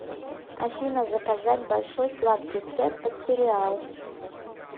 афина заказать большой сладкий сет под сериал